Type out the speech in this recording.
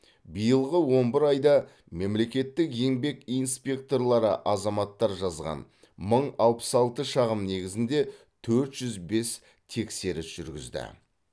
биылғы он бір айда мемлекеттік еңбек инспекторлары азаматтар жазған мың алпыс алты шағым негізінде төрт жүз бес тексеріс жүргізді